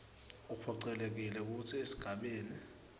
uphocelelekile kutsi esigabeni